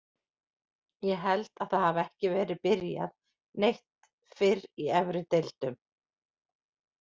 Ég held að það hafi ekki verið byrjað neitt fyrr í efri deildum.